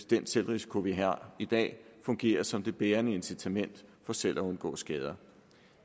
den selvrisiko vi har i dag fungerer som det bærende incitament for selv at undgå skader